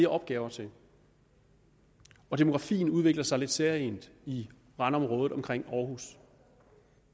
opgaver til og demografien udvikler sig lidt særegent i randområdet omkring århus